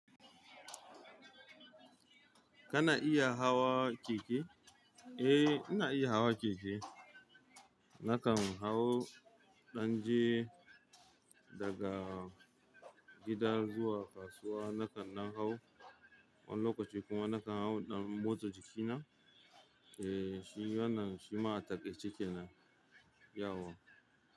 Kana iya hawa keke? Ae ina iya hawa keke. Nakan hau in danje daga gida zuwa kasuwa. Nakan dan hau wani lokaci kuma nakan hau in dan motsa jikina. Eh, shi wannan shima a takaice kenan yauwa.